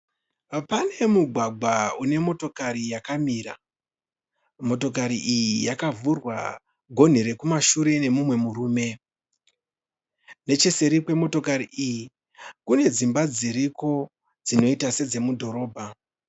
Pane mugwagwa une motokari yakamira. Motokari iyi yakavhurwa gonhi rekumashure nemumwe murume. Necheseri kwemotokari iyi kune dzimba dziriko dzinoita sedzemudhorobha.